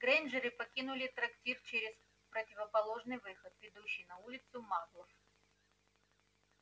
грэйнджеры покинули трактир через противоположный выход ведущий на улицу маглов